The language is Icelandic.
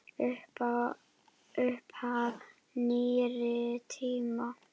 Upphaf nýrri tíma.